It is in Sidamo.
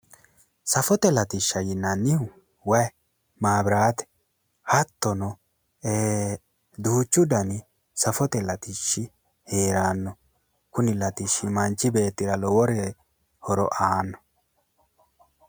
Safote latishsha yinannihu wayi, maabiraate hattono duuchu dani safote latishshi heeranno. kuni latishshi manchi beettira lowo horo aanno